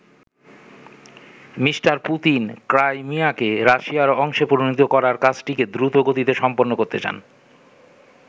Me. Putin ক্রাইমিয়াকে রাশিয়ার অংশে পরিণত করার কাজটিকে দ্রুতগতিতে সম্পন্ন করতে চান।